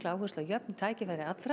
áherslu á jöfn tækifæri allra